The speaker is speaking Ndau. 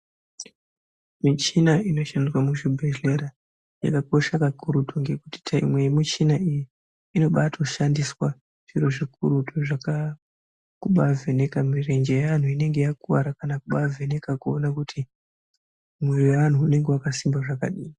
Muchina inoshandiswa muzvibhedhlera inokosha kakurutu ngekuti tayipi yemuchina iyi inotobashandiswa zviro zvikurutu kubavheneka murenje yeanhu inenge yakuwara kana kubavheneka kuona kuti mwiri yeanhu inenge yakasimba zvakadini.